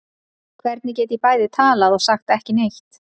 Hvernig get ég bæði talað og sagt ekki neitt?